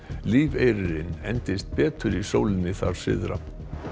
lífeyririnn endist betur í sólinni þar syðra